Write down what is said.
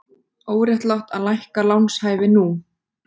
Óréttlátt að lækka lánshæfi nú